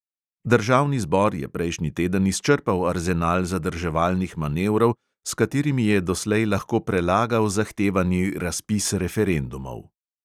Državni zbor je prejšnji teden izčrpal arzenal zadrževalnih manevrov, s katerimi je doslej lahko prelagal zahtevani razpis referendumov.